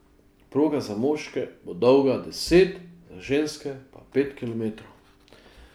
Proga za moške bo dolga deset, za ženske pa pet kilometrov.